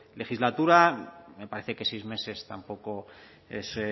legislatura me parece que seis meses tampoco es